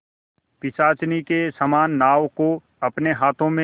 पिशाचिनी के समान नाव को अपने हाथों में